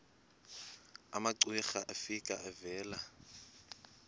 umamcira efika evela